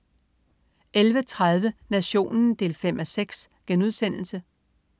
11.30 Nationen 5:6*